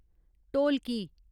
ढोलकी